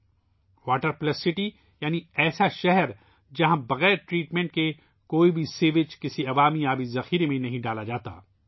' water plus city ' یعنی ایسا شہر ، جہاں صفائی کے بغیر کسی بھی سیوریج کا پانی عام پانی کے وسائل میں نہیں چھوڑا جاتا